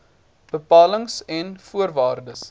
bepalings en voorwaardes